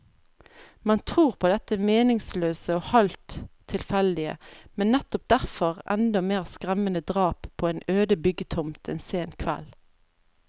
Man tror på dette meningsløse og halvt tilfeldige, men nettopp derfor enda mer skremmende drap på en øde byggetomt en sen kveld.